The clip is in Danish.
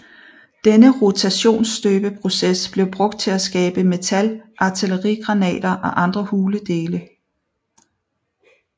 Denne rotationsstøbeproces blev brugt til at skabe metal artillerigranater og andre hule dele